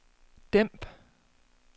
dæmp